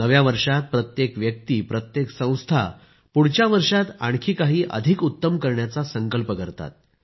नव्या वर्षात प्रत्येक व्यक्ती प्रत्येक संस्था पुढच्या वर्षात आणखी काही अधिक उत्तम करण्याचा संकल्प करतात